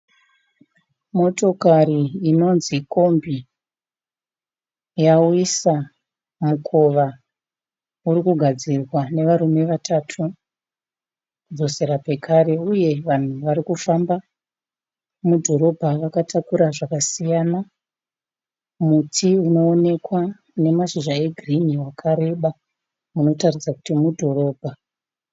Motokari inonzi kombi. Yawisa mukova. Uri kugadzirwa nevarume vatatu kudzosera pekare uye vanhu varikufamba mudhorobha vakatakura zvakasiyana. Muti unoonekwa une mashizha egirinhi wakareba unotaridza kuti mudhorobha.